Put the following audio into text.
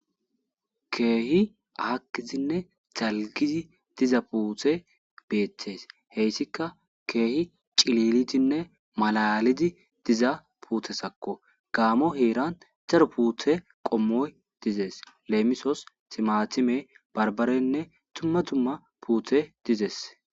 Keehi aakkidinne dalggidi diza puutey beettes. Heyssikka keehi cililidinne malaalidi diza puutezakko. Gaammo heeran daro puute qommoy dizes. Leemisos timatime, barbarenne dumma dumma puutey dizes.